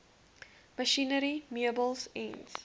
masjinerie meubels ens